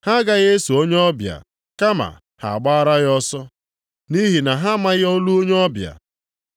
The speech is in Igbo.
Ha agaghị eso onye ọbịa, kama ha gbaara ya ọsọ. Nʼihi na ha amaghị olu onye ọbịa.”